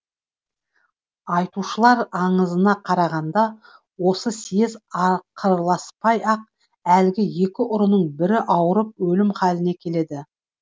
айтушылар аңызына қарағанда осы съез ақырласпай ақ әлгі екі ұрының бірі ауырып өлім халіне келеді